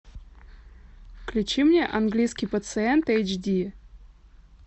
включи мне английский пациент эйч ди